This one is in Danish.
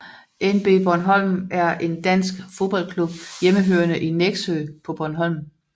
NB Bornholm er en dansk fodboldklub hjemmehørende i Nexø på Bornholm